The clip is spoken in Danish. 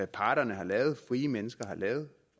parterne har lavet frie mennesker har lavet